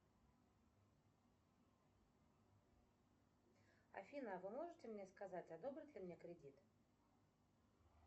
афина а вы можете мне сказать одобрят ли мне кредит